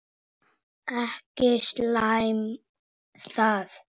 Ekki slæmt það.